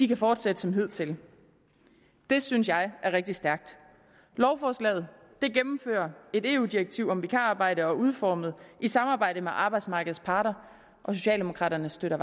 kan fortsætte som hidtil det synes jeg er rigtig stærkt lovforslaget gennemfører et eu direktiv om vikararbejde og er udformet i samarbejde med arbejdsmarkedets parter og socialdemokraterne støtter